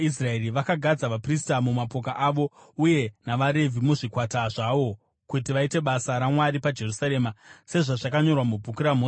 Vakagadza vaprista mumapoka avo uye navaRevhi muzvikwata zvawo kuti vaite basa raMwari paJerusarema, sezvazvakanyorwa muBhuku raMozisi.